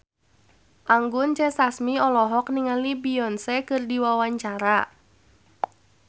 Anggun C. Sasmi olohok ningali Beyonce keur diwawancara